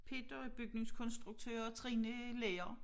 Peter er bygningskontsruktør og Trine er lærer